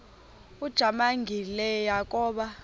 ujamangi le yakoba